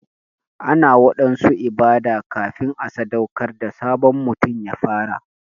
Ana waɗansu ibada kafin a sadaukar da sabon mutum ya fara.